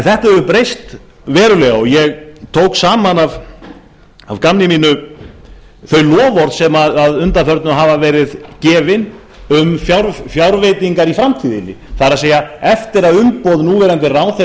þetta hefur breyst verulega og ég tók saman af gamni mínu þau loforð sem að undanförnu hafa verið gefin um fjárveitingar í framtíðinni það er eftir að umboð núverandi ráðherra er